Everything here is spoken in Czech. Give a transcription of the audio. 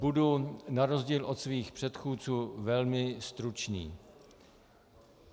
Budu na rozdíl od svých předchůdců velmi stručný.